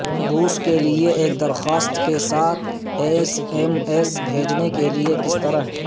روس کے لئے ایک درخواست کے ساتھ ایس ایم ایس بھیجنے کے لئے کس طرح